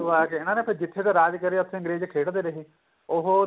ਆ ਕੇ ਇਹਨਾ ਨੇ ਫੇਰ ਜਿੱਥੇ ਦਾ ਰਾਜ ਕਰਿਆ ਅੰਗਰੇਜ ਖੇਡਦੇ ਰਹੇ ਉਹ